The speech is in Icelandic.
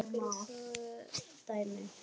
Tökum tvö dæmi